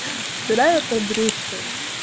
вторая подружка